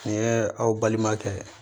Nin ye aw balimakɛ